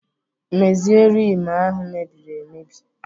Mezie Rim ahụ mebiri emebi!